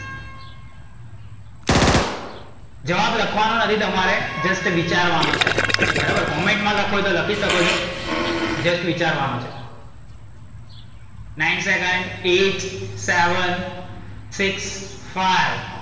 જવાબ લખવાનો નથી તમારે just વિચારવાનો છે. બરાબર comment લખવું હોય તો લખી શકો છો. just વિચારવાનું છે. nine second, eight, seven, six, five